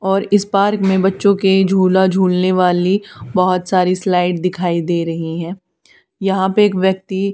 और इस पार्क में बच्चों के झूला झूलने वाली बहोत सारी स्लाइड दिखाई दे रही है यहां पे एक व्यक्ति--